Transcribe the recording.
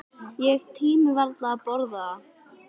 Ég tími varla að borða það.